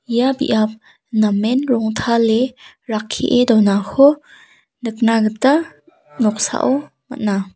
ia biap namen rongtale rakkie donako nikna gita noksao man·a.